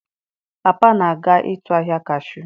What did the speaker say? Papa na-aga ịtụ ahịa Cashu.